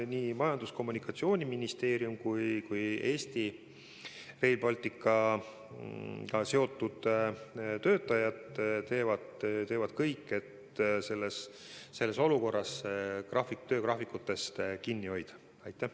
Nii Majandus- ja Kommunikatsiooniministeerium kui ka Rail Balticuga seotud Eesti töötajad teevad kõik, et selles olukorras töögraafikutest kinni pidada.